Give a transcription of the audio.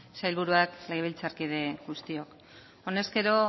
sailburuak legebiltzarkide guztiok honezkero